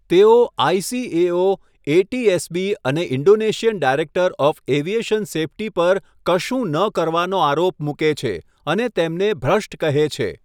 તેઓ ICAO, ATSB, અને Indonesian director of aviation safety પર 'કશું ન કરવાનો' આરોપ મૂકે છે, અને તેમને 'ભ્રષ્ટ' કહે છે.